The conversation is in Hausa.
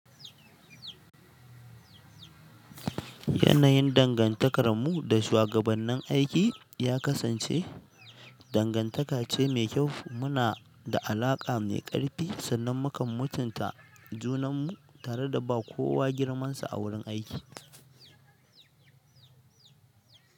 Yanayin dangantakarmu da shugabannin aiki, ya kasance dangantaka ce mai kyau. Muna da alaƙa mai ƙarfi, sannan mukan mutunta junanmu tare da ba kowa girmansa a wurin aiki.